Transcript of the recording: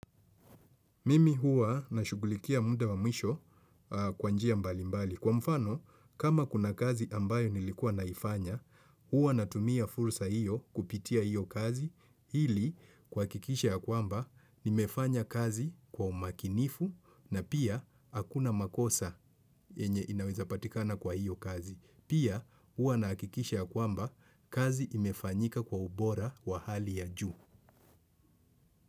Mimi huwa nashugulikia muda wa mwisho kwa njia mbalimbali. Kwa mfano, kama kuna kazi ambayo nilikuwa naifanya, huwa natumia fursa hiyo kupitia hiyo kazi. Ili, kuhakikisha ya kwamba, nimefanya kazi kwa umakinifu na pia hakuna makosa yenye inawezapatikana kwa hiyo kazi. Pia, huwa nahakikisha ya kwamba, kazi imefanyika kwa ubora wa hali ya juu.